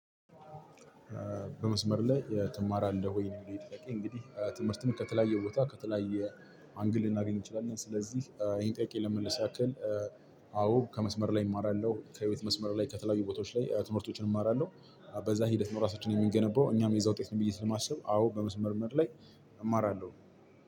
በመስመር ላይ እ ትማራለህ ወይ? ነው የሚለው ይኼ ጥያቄ እንግዲህ እ ትምህርትን ከተለያየ ቦታ ከተለያየ አንግል ልናገኝ እንችላለን። ስለዚህ እ ይሄን ጥያቄ ለመመለስ ያክል አዎ ከመስመር ላይ እማራለሁ ከሕይወት መስመር ላይ ከተለያዩ ቦታዎች ላይ ትምህርቶችን እማራለሁ። በዛ ሂደት ነው ራሳችንን የምንገነባው እኛም የዛ ውጤት ነን ብዬ ስለማስብ አዎ በመስመር መርመር ላይ እማራለሁ።